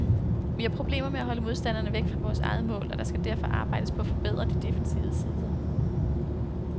Vi har problemer med at holde modstanderne væk fra vores eget mål, og der skal derfor arbejdes på at forbedre de defensive sider.